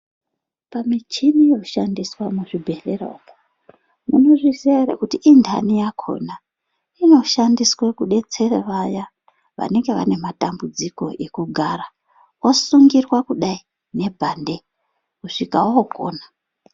Pamichini inoshandiswa muzvibhedhlera uko, munozviziya ere kuti inhani yakhona inoshandiswa kudetsera vaya vanenge vane matambudziko ekugara, osungirwa kudai ngebhande kusvika okona.